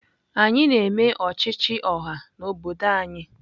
Anyị na-eme ọchịchị ọha n'obodo anyị